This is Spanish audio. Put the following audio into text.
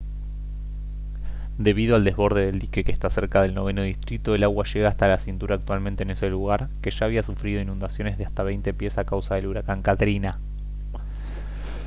debido al desborde del dique que está cerca del noveno distrito el agua llega hasta la cintura actualmente en ese lugar que ya había sufrido inundaciones de hasta 20 pies a causa del huracán katrina